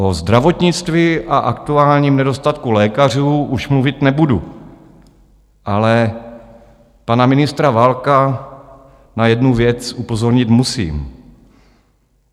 O zdravotnictví a aktuálním nedostatku lékařů už mluvit nebudu, ale pana ministra Válka na jednu věc upozornit musím.